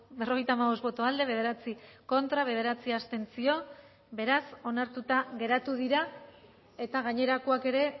berrogeita hamabost boto aldekoa bederatzi contra bederatzi abstentzio beraz onartuta geratu dira eta gainerakoak ere